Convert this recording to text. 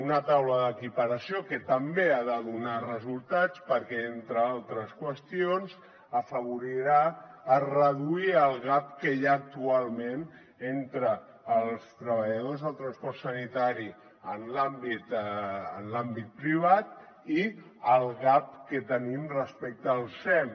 una taula d’equiparació que també ha de donar resultats perquè entre altres qüestions afavorirà a reduir el gap que hi ha actualment entre els treballadors del transport sanitari en l’àmbit privat i el gap que tenim respecte al sem